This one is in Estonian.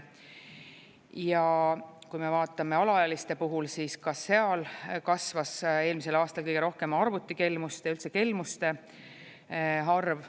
Ja kui me vaatame alaealiste puhul, siis ka seal kasvas eelmisel aastal kõige rohkem arvutikelmuste ja üldse kelmuste arv.